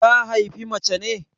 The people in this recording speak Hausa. Ta haifi mace ne?